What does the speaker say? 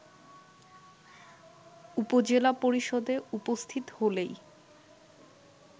উপজেলা পরিষদে উপস্থিত হলেই